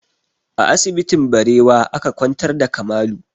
A asibitin Barewa aka kwantar da Kamalu